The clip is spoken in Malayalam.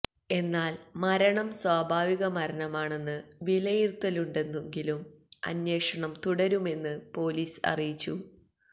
എന്നാല് മരണം സ്വഭാവിക മരണമാണെന്ന് വിലയിരുത്തലുണ്ടെങ്കിലും അന്വേഷണം തുടരുമെന്ന് പോലീസ് അറിയിച്ചു